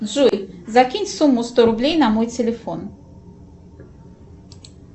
джой закинь сумму сто рублей на мой телефон